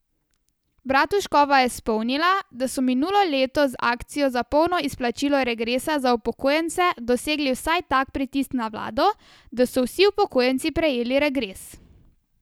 Bratuškova je spomnila, da so minulo leto z akcijo za polno izplačilo regresa za upokojence dosegli vsaj tak pritisk na vlado, da so vsi upokojenci prejeli regres.